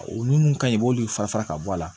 O nun kaɲi i b'olu fara fara ka bɔ a la